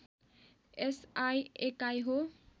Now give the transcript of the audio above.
SI एकाइ हो